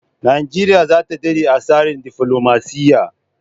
Nigeria zata dade a tsarin defilomaciya